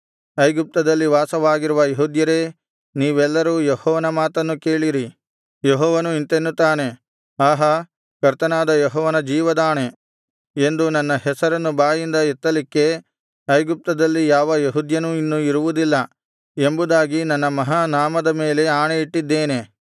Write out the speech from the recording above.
ಐಗುಪ್ತದಲ್ಲಿ ವಾಸವಾಗಿರುವ ಯೆಹೂದ್ಯರೇ ನೀವೆಲ್ಲರೂ ಯೆಹೋವನ ಮಾತನ್ನು ಕೇಳಿರಿ ಯೆಹೋವನು ಇಂತೆನ್ನುತ್ತಾನೆ ಆಹಾ ಕರ್ತನಾದ ಯೆಹೋವನ ಜೀವದಾಣೆ ಎಂದು ನನ್ನ ಹೆಸರನ್ನು ಬಾಯಿಂದ ಎತ್ತಲಿಕ್ಕೆ ಐಗುಪ್ತದಲ್ಲಿ ಯಾವ ಯೆಹೂದ್ಯನೂ ಇನ್ನು ಇರುವುದಿಲ್ಲ ಎಂಬುದಾಗಿ ನನ್ನ ಮಹಾನಾಮದ ಮೇಲೆ ಆಣೆಯಿಟ್ಟಿದ್ದೇನೆ